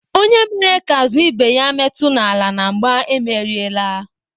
Onye mere ka azụ ibe ya metu n'ala na mgbà emeriela.